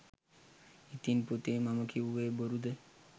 ඉතින් පුතේ මම කිව්වෙ බොරුද?